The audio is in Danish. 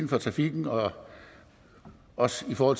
for trafikken og også for